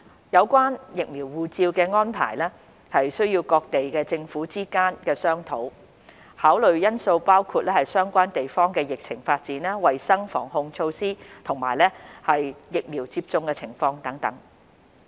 有關"疫苗護照"的安排需要各地政府之間商討，考慮因素包括相關地方的疫情發展、衞生防控措施，以及疫苗接種情況等。